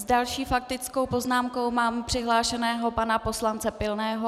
S další faktickou poznámkou mám přihlášeného pana poslance Pilného.